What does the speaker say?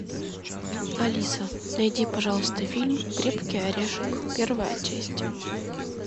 алиса найди пожалуйста фильм крепкий орешек первая часть